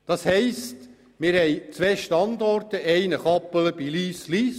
Das heisst also, wir haben zwei Standorte: Einen Standort bei Kappelen Lyss/Lyss.